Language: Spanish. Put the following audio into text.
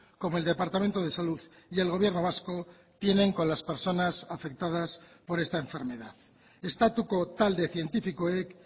como el departamento de salud y el gobierno vasco tienen con las personas afectadas por esta enfermedad estatuko talde zientifikoek